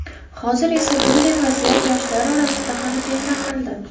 Hozir esa bunday vaziyat yoshlar orasida ham keng tarqaldi.